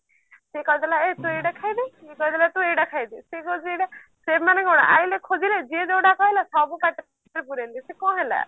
ସିଏ କହିଦେଲା ଏ ତୁ ଏଇଟା ଖାଇଦେ ଇଏ କହିଦେଲା ତୁ ଏଇଟା ଖାଇଦେ ସିଏ କହୁଛି ଏଇଟା ସେମାନେ କଣ ଆଇଲେ ଖୋଜିଲେ ଯିଏ ଯୋଉଟା ଖାଇଲା ସବୁ ପାଟିରେ ପୁରେଇଲେ ସେ କଣ ହେଲା